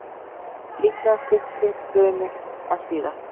Líklega styttri bruni en síðast